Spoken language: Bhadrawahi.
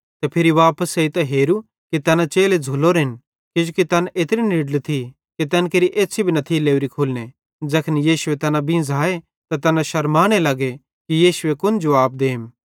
ते फिरी वापस एइतां हेरू कि तैना चेले झ़ुल्लोरेन किजोकि तैन एत्री निड्ली थी कि तैन केरि एछ़्छ़ी भी न थी लोरी खुलने ज़ैखन यीशुए तैना बींझ़ाए त तैना शरमाने लग्गे कि यीशुए कुन जुवाब देम